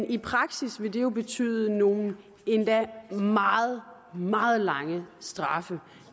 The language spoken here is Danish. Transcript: i praksis vil det jo betyde nogle endda meget meget lange straffe